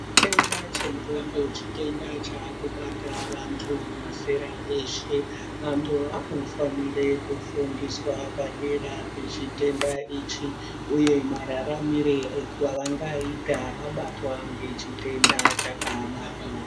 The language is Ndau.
Chitenda chendxonda chitenda chakubata vantu vemazera eshe vantu vanofanire kufundiswa padera pechitenda ichi uye mararamire evangaita vabatwa ngechitenda chakadaro.